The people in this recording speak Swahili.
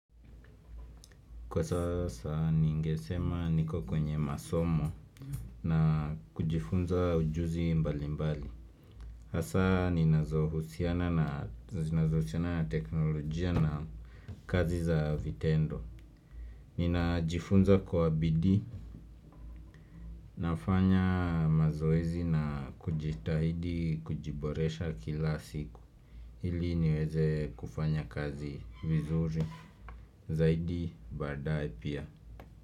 Kwa sasa ningesema niko kwenye masomo na kujifunza ujuzi mbali mbali Hasa ni nazohusiana na teknolojia na kazi za vitendo Nina jifunza kwa bidii nafanya mazoezi na kujitahidi kujiboresha kila siku Hili niweze kufanya kazi vizuri zaidi baadaye pia.